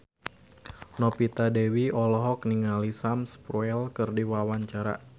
Novita Dewi olohok ningali Sam Spruell keur diwawancara